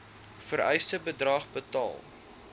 vereiste bedrag betaal